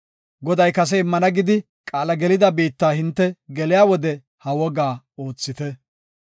Goday kase immana gidi qaala gelida biitta hinte geliya wode ha wogaa oothite.